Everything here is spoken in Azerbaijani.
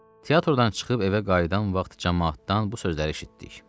Teatrdan çıxıb evə qayıdan vaxt camaatdan bu sözləri eşitdik.